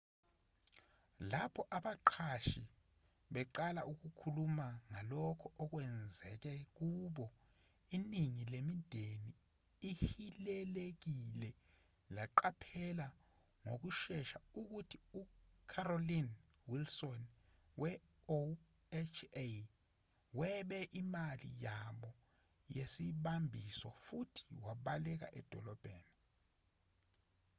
lapho abaqashi beqala ukukhuluma ngalokho okwenzeke kubo iningi lemindeni ehilelekile laqaphela ngokushesha ukuthi ucarolyn wilson we-oha webe imali yabo yesibambiso futhi wabaleka edolobheni